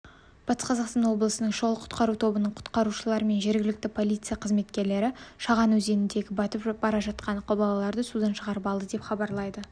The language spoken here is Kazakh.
батыс қазақстан облысының шұғыл-құтқару тобының құтқарушылары мен жергілікті полиция қызметкерлері шаған өзенінде батып бара жатқан балаларды судан шығарып алды деп хабарлайды